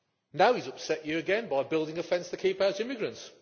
Now he has upset you again by building a fence to keep out immigrants.